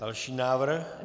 Další návrh?